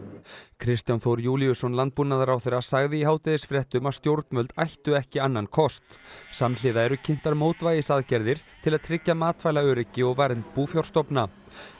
Kristján Þór Júlíusson landbúnaðarráðherra sagði í hádegisfréttum að stjórnvöld ættu ekki annan kost samhliða eru kynntar mótvægisaðgerðir til að tryggja matvælaöryggi og vernd búfjárstofna